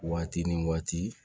Waati ni waati